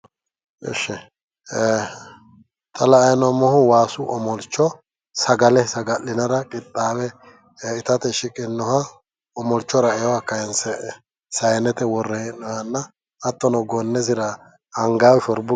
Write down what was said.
Ishi xa la"anni noommohu waasu omolcho sagale saga'linara qixxawe itate shiqinoha omolcho ra"ewoha kaayinse saayinete worre hee'nooyihanna hattono gonnesira angayiha shorbu